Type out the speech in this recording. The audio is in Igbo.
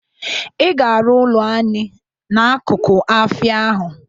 I ga-arụ ụlọ anị n'akụkụ afịa ahụ!